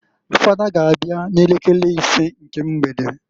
Fada g' abịa n'elekere isee nke mgbede.